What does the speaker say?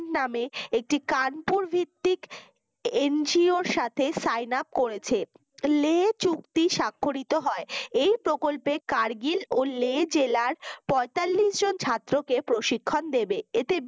নামে একটি কানপুর ভিত্তিক NGO এর সাথে sing up করেছে লে চুক্তি সাক্ষরিত হয় এই প্রকল্পে কারগিল ও লে জেলার পঁয়তাল্লিশ জন ছাত্রকে প্রশিক্ষণ দেবে এতে